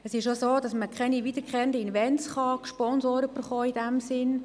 Es ist auch so, dass man in diesem Sinn keine wiederkehrenden Events gesponsert bekommt.